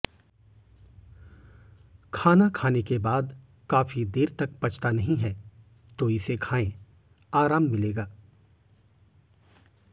खाना खाने के बाद काफी देर तक पचता नहीं है तो इसे खाएं आराम मिलेगा